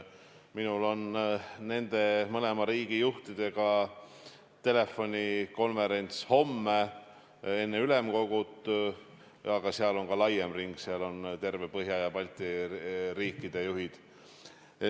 Minul on nende mõlema riigi juhiga telefonikonverents homme enne ülemkogu, seal on laiem ring, seal on terve Põhjala ja Balti riikide juhid.